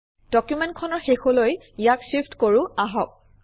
ডকুমেণ্টখনৰ শেষলৈ ইয়াক shift কৰোঁ আহক